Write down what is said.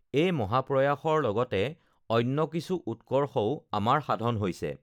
এই মহাপ্ৰয়াসৰ লগতে অন্য কিছু উৎকৰ্ষও আমাৰ সাধন হৈছেঃ